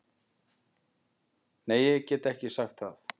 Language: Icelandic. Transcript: Nei ég get ekki sagt það.